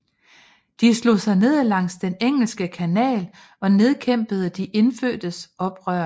De slog sig ned langs den Engelske Kanal og nedkæmpede de indfødtes oprør